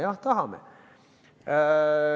Jah, tahame.